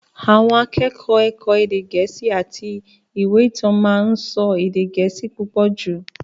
Àwọn akẹ́kọ̀ọ́ ẹ̀kọ́ èdè Gẹ̀ẹ́sì àti ìwé ìtàn máa ń sọ èdè Gẹ̀ẹ́sì púpọ̀ jù.